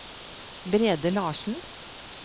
Brede Larsen